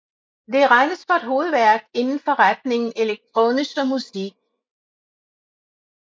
Det regnes for et hovedværk inden for retningen elektronische Musik